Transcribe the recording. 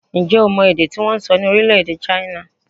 Ǹjẹ́ o mọ èdè tí wọ́n ń sọ ní orílẹ̀-èdè China?